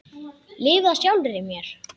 Lifað sjálfri mér.